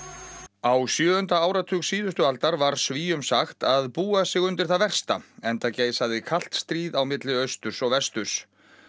á sjöunda áratug síðustu aldar var Svíum sagt að búa sig undir það versta enda geisaði kalt stríð á milli austurs og vesturs